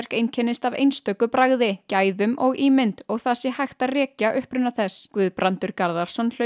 einkennist af einstöku bragði gæðum og ímynd og það sé hægt að rekja uppruna þess Guðbrandur Garðarsson hlaut